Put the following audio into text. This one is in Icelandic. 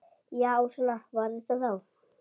Já, svona var þetta þá.